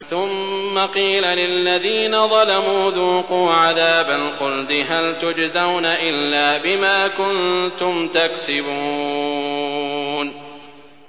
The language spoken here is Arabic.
ثُمَّ قِيلَ لِلَّذِينَ ظَلَمُوا ذُوقُوا عَذَابَ الْخُلْدِ هَلْ تُجْزَوْنَ إِلَّا بِمَا كُنتُمْ تَكْسِبُونَ